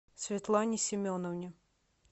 светлане семеновне